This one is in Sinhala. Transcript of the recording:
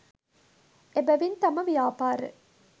එබැවින් තම ව්‍යාපාර